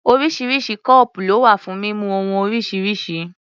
Oríṣiríṣi kọ́ọ̀pù ló wà fún mímu ohun oríṣiríṣi.